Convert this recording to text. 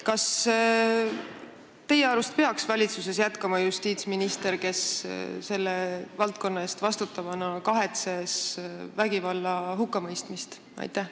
Kas teie arust peaks valitsuses jätkama justiitsminister, kes selle valdkonna eest vastutava ministrina kahetses vägivalla hukkamõistmist?